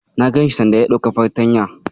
Na ganshi sanda ya dauki fartanyar.